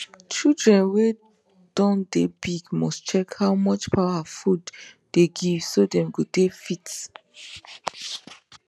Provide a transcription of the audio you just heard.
children wen don de big must check how much power food dey give so dem go dey fit